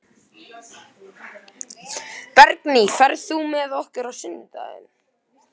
Bergný, ferð þú með okkur á sunnudaginn?